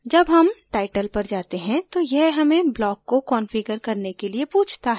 जब हम title पर जाते हैं तो यह हमें block को कंफिगर करने के लिए पूछता है